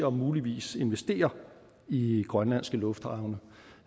og muligvis investere i grønlandske lufthavne